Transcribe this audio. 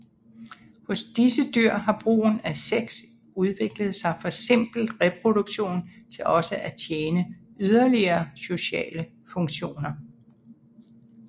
Hos disse dyr har brugen af sex udviklet sig fra simpel reproduktion til også at tjene yderligere sociale funktioner